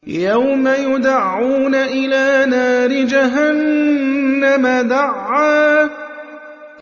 يَوْمَ يُدَعُّونَ إِلَىٰ نَارِ جَهَنَّمَ دَعًّا